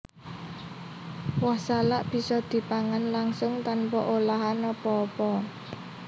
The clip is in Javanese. Woh salak bisa dipangan langsung tanpa olahan apa apa